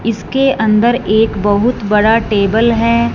इसके अंदर एक बहुत बड़ा टेबल है।